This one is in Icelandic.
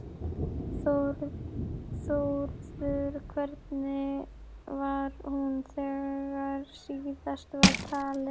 Þórður, hvernig var hún þegar síðast var talið?